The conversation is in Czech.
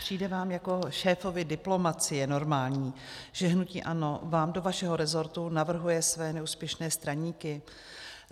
Přijde vám jako šéfovi diplomacie normální, že hnutí ANO vám do vašeho rezortu navrhuje své neúspěšné straníky?